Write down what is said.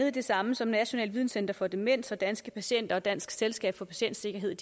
af det samme som nationalt videnscenter for demens og danske patienter og dansk selskab for patientsikkerhed